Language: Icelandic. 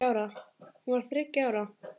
Hún var þá þriggja ára.